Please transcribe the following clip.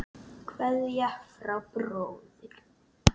Kveðja frá bróður.